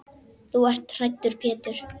Þú ert hræddur Pétur.